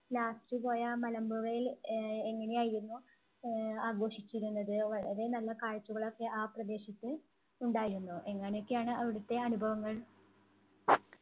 last പോയ ആ മലമ്പുഴയിൽ ആഹ് എങ്ങനെയായിരുന്നു ആഹ് ആഘോഷിച്ചിരുന്നത്? വളരെ നല്ല കാഴ്ചകൾ ഒക്കെ ആ പ്രദേശത്ത് ഉണ്ടായിരുന്നോ? എങ്ങനെയൊക്കെയാണ് അവിടത്തെ അനുഭവങ്ങൾ?